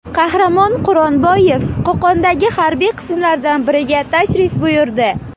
Qahramon Quronboyev Qo‘qondagi harbiy qismlardan biriga tashrif buyurdi .